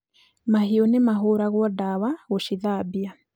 Mahiũ nĩ mahũragwo dawa gũcithambia